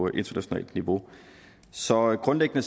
internationalt niveau så grundlæggende